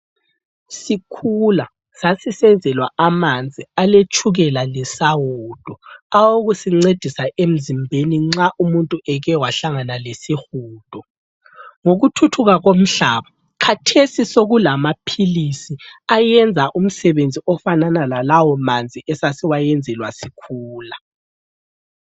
Sikhula sasisenzelwa amanzi aletshukela lesawudo awokusincedisa emzimbeni nxa umuntu eke wahlangana lesihudo. Ngokuthuthuka komhlaba, khathesi sokulamaphilisi ayenza umsebenzi ofanana lalawo manzi esasiwayenzelwa sikhula.